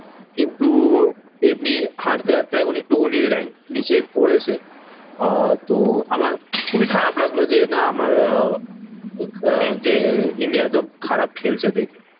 কিন্তু এমনি হারতে হারতে এখন একটুখানি রাঙ্ক নিচে পড়েছে। আহ তো আমার খুবই খারাপ লাগলো যে, না আমার আহ আহ যে ইন্ডিয়া এত খারাপ খেলছে দেখে।